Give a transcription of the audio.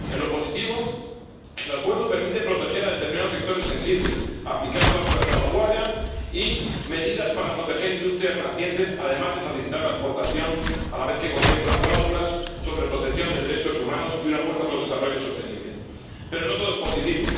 En lo positivo, el Acuerdo permite proteger a determinados sectores sensibles, aplicar cláusulas de salvaguardia y medidas para proteger industrias nacientes, además de facilitar la exportación, a la vez que contempla cláusulas sobre protección de derechos humanos y una apuesta por el desarrollo sostenible. Pero no todo es positivo.